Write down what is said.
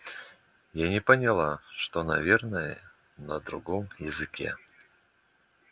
я не поняла что наверное на другом языке